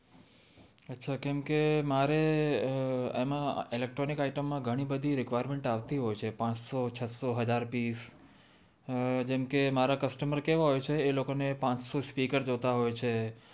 અચ્છા કેમ કે મારે એમાં ઇલેક્ટ્રોનિક આઈટમ માં ઘણી બધી રિક્વિયરમેન્ટ આવતી હોય છે પાંચસો છસો હજાર પીશ હ જેમ કે મારા કસ્ટમર કેવા હોય છે એ લોકો ને પાંચશો સ્પીકર જોતા હોય છે